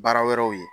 Baara wɛrɛw ye